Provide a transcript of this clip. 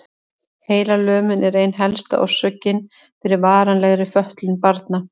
Heilalömun er ein helsta orsökin fyrir varanlegri fötlun barna.